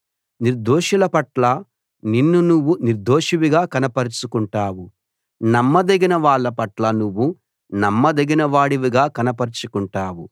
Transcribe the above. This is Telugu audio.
నిర్దోషుల పట్ల నిన్ను నువ్వు నిర్దోషివిగా కనపరచుకుంటావు నమ్మదగిన వాళ్ళ పట్ల నువ్వు నమ్మదగిన వాడివిగా కనపరచుకుంటావు